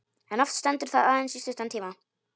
En oft stendur það aðeins í stuttan tíma.